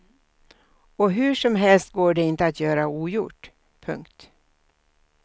Och hur som helst går det inte att göra ogjort. punkt